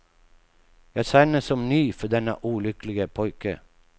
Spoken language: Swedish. Jag känner som ni för denne olycklige pojke.